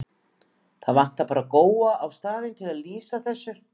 Það vantaði bara Góa á staðinn til að lýsa þessu.